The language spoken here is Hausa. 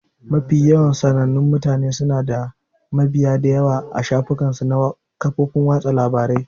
Mafi yawan sanannun mutane suna da mabiya da yawa a shafukan su na kafofin watsa labarai